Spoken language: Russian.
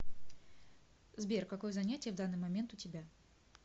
сбер какое занятие в данный момент у тебя